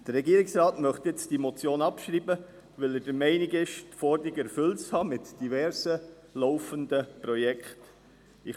» Der Regierungsrat möchte diese Motion jetzt abschreiben, weil er der Meinung ist, die Forderung mit diversen laufenden Projekten erfüllt zu haben.